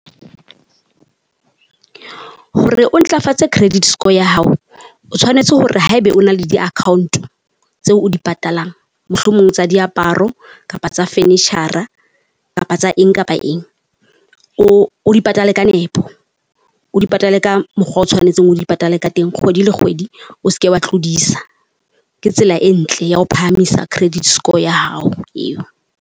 Hore o ntlafatse credit score ya hao, o tshwanetse hore haebe o na le di account tseo o di patalang, mohlomong tsa diaparo kapa tsa furniture-ra kapa tsa eng kapa eng o o di patale ka nepo, o di patale ka mokgwa o tshwanetseng o di patale ka teng kgwedi le kgwedi o se ke wa tlodisa. Ke tsela e ntle ya ho phahamisa credit score ya hao eo.